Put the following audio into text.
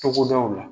Togodaw la